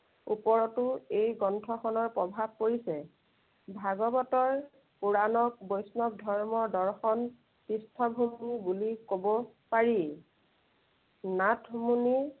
ওপৰতো এই গ্ৰন্থখনৰ প্ৰভাৱ পৰিছে। ভাগৱতৰ কোৰানত বৈষ্ণৱ ধৰ্মৰ দৰ্শন পৃষ্ঠভূমি বুলি কব পাৰি। নাথমুনিৰ